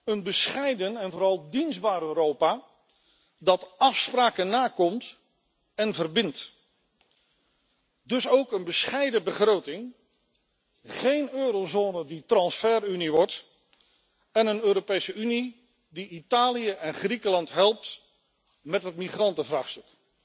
Een bescheiden en vooral dienstbaar Europa dat afspraken nakomt en verbindt. Dus ook een bescheiden begroting, geen eurozone die transferunie wordt, en een Europese Unie die Italië en Griekenland helpt met het migrantenvraagstuk.